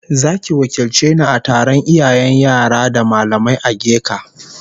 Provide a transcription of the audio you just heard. Zaki wakilce ni a taron iyayen yara da mallamai ageka